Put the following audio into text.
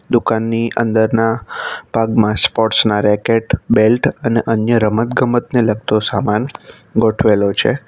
દુકાનની અંદરના ભાગમાં સ્પોર્ટ્સ ના રેકેટ બેલ્ટ અને અન્ય રમતગમતને લગતો સામાન ગોઠવેલો છે.